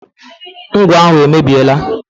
Ngwọ ahụ emebiela.